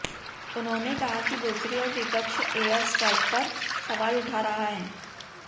उन्होंने कहा कि दूसरी ओर विपक्ष एयर स्ट्राइक पर सवाल उठा रहा है